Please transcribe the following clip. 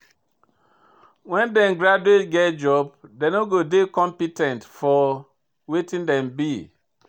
When dem graduate get job, dem no dey dey compe ten t for wetin dem do.